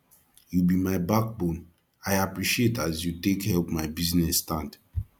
you be my backbone i appreciate as you take help my business stand